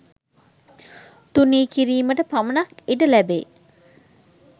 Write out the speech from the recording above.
තුනී කිරීමට පමණක් ඉඩ ලැබේ.